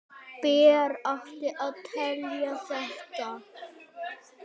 Ber að átelja þetta.